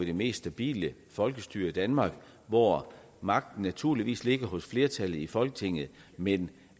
det mest stabile folkestyre i danmark hvor magten naturligvis ligger hos flertallet i folketinget men